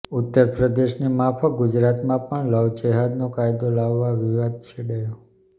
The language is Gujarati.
ઉત્તરપ્રદેશની માફક ગુજરાતમાં પણ લવજેહાદનો કાયદો લાવવા વિવાદ છેડાયો